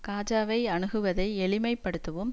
காஜாவை அணுகுவதை எளிமை படுத்தவும்